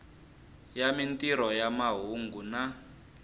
ya mintirho ya mahungu na